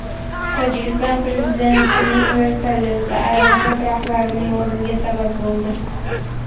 Tojikiston prezidentining vertolyoti aeroport rahbarining o‘limiga sabab bo‘ldi.